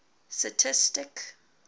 stastistic